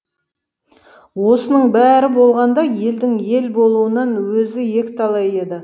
осының бәрі болғанда елдің ел болуынан өзі екіталай еді